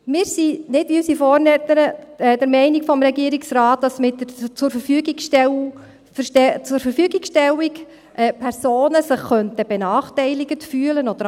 Wir sind, nicht wie unsere Vorrednerin, der Meinung des Regierungsrates, dass sich mit dem Zurverfügungstellen Personen benachteiligt fühlen könnten.